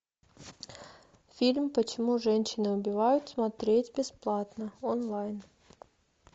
фильм почему женщины убивают смотреть бесплатно онлайн